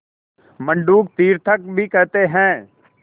मंडूक तीर्थक भी कहते हैं